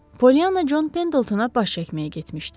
Polyanna Con Pendletona baş çəkməyə getmişdi.